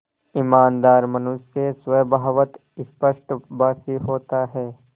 ईमानदार मनुष्य स्वभावतः स्पष्टभाषी होता है